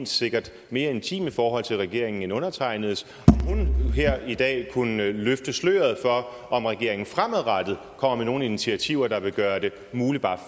sikkert mere intime forhold til regeringen end undertegnedes her i dag kunne løfte sløret for om regeringen fremadrettet kommer med nogle initiativer der vil gøre det muligt bare at